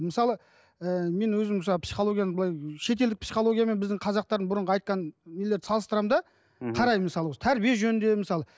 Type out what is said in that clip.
мысалы ыыы мен өзім мысалы психологияны былай шетелдік психология мен біздің қазақтардың бұрынғы айтқан нелер салыстырамын да мхм қараймын мысалы осы тәрбие жөнінде мысалы